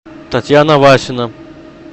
татьяна васина